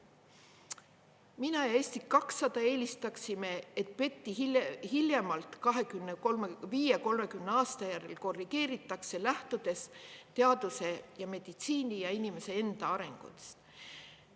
Mina ja Eesti 200 eelistaksime, et PET-i hiljemalt … aasta järel korrigeeritakse, lähtudes teaduse ja meditsiini ja inimese enda arengust.